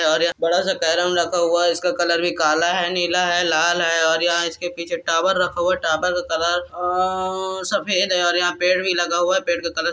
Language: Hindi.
और यह बड़ा सा कैरम रखा हुआ है। इसका कलर भी काला हैनीला हैलाल है और यहाँ इसके पीछे टॉवर रखा हुआ है। टॉवर का कलर अअअ सफ़ेद है और यहाँ पेड़ भी लगा हुआ है। पेड़ का कलर --